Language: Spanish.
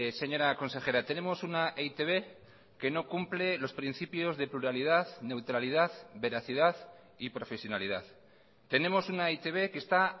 señora consejera tenemos una e i te be que no cumple los principios de pluralidad neutralidad veracidad y profesionalidad tenemos una e i te be que está